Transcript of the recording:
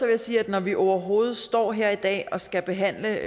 jeg sige at når vi overhovedet står her i dag og skal behandle